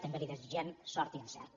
també li desitgem sort i encert